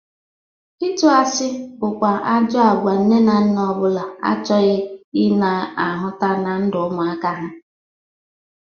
Ịtụ asị bụkwa ajọ agwa nne na nna ọ bụla achọghị ị na-ahụta na ndụ ụmụaka ha.